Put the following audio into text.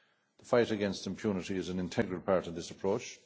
The fight against impunity is an integral part of this approach.